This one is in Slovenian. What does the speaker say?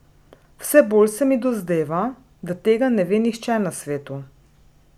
Vse bolj se mi dozdeva, da tega ne ve nihče na svetu.